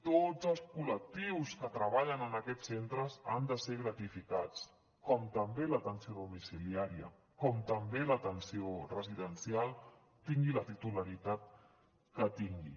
tots els col·lectius que treballen en aquests centres han de ser gratificats com també l’atenció domiciliària com també l’atenció residencial tingui la titularitat que tingui